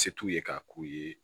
Se t'u ye k'a k'u ye